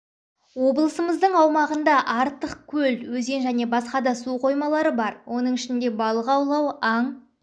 облысымыздың аумағында артық көл өзен және басқа да су қоймалары бар оның ішінде балық аулау аң